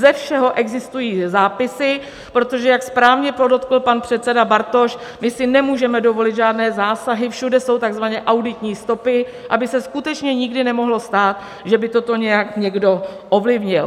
Ze všeho existují zápisy, protože jak správně podotkl pan předseda Bartoš, my si nemůžeme dovolit žádné zásahy, všude jsou tzv. auditní stopy, aby se skutečně nikdy nemohlo stát, že by toto nějak někdo ovlivnil.